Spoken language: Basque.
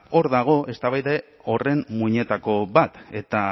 hor dago eztabaida horren muinetako bat eta